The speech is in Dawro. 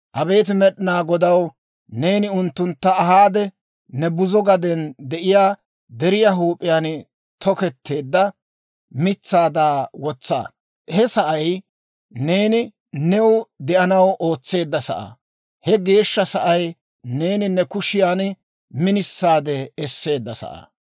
Abeet Med'inaa Godaw Neeni unttuntta ahaade, ne buzo gaden de'iyaa deriyaa huup'iyaan toketteedda mitsaada wotsa. He sa'ay neeni new de'anaw ootseedda sa'aa, he geeshsha sa'ay neeni ne kushiyaan minisaadde esseedda sa'aa.